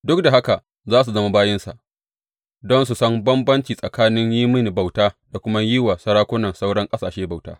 Duk da haka za su zama bayinsa, don su san bambanci tsakanin yin mini bauta da kuma yin wa sarakunan sauran ƙasashe bauta.